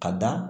Ka da